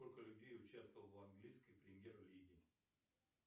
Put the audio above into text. сколько людей участвовало в английской премьер лиге